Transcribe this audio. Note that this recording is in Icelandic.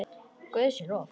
Guði sé lof.